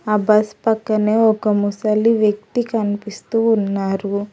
ఆ బస్ పక్కనే ఒక ముసలి వ్యక్తి కనిపిస్తూ ఉన్నారు.